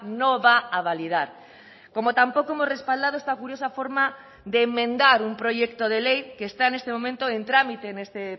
no va a validar como tampoco hemos respaldado esta curiosa forma de enmendar un proyecto de ley que está en este momento en trámite en este